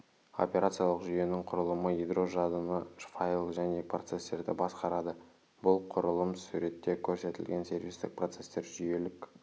операциялық жүйенің құрылымы ядро жадыны файл және процестерді басқарады бұл құрылым суретте көрсетілген сервистік процестер жүйелік